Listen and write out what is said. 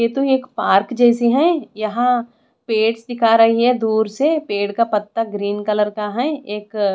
यह तो एक पार्क जैसी है यहाँ पेड्स दिखा रही है दूर से पेड़ का पत्ता ग्रीन कलर का है एक--